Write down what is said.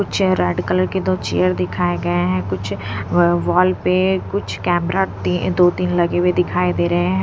कुछ red colour के दो चेयर दिखाए गए हैं कुछ व वॉल पे कुछ कैमरा ती दो तीन लगे हुए दिखाई दे रहे हैं।